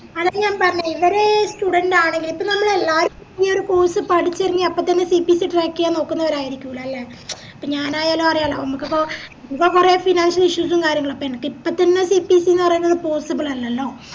student ആണെങ്കില് ഇപ്പൊ നമ്മളെല്ലാരും ഈ ഒര് course പടിച്ചെറങ്ങി അപ്പൊത്തന്നെ CPCtrack ചെയ്യാൻ നോക്കുന്നൊരരിക്കുല അല്ലെ മ്ച ഇപ്പൊ ഞാനായാലും ആരായാലും അതിമ്മക്കിപ്പോ ഇപ്പൊ കൊറേ financial issues ഉം കാര്യങ്ങളും അപ്പൊ എനക്കിപ്പോത്തന്നെ CPC ന്ന് പറേന്നത് possible അല്ലല്ലോ